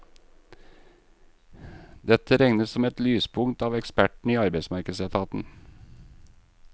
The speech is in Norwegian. Dette regnes som et lyspunkt av ekspertene i arbeidsmarkedsetaten.